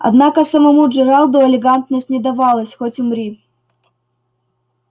однако самому джералду элегантность не давалась хоть умри